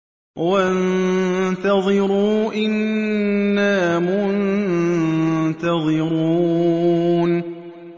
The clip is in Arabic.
وَانتَظِرُوا إِنَّا مُنتَظِرُونَ